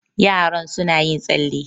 yaron suna yin tsalle